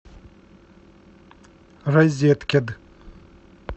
розеткед